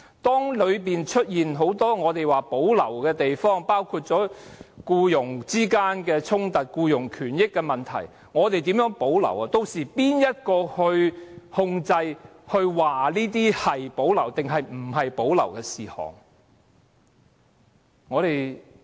當中出現很多我們說須保留的地方，包括僱傭衝突和僱傭權益等問題，我不知道我們可以怎樣保留這些事項，屆時由誰控制和決定甚麼事項須保留和無須保留？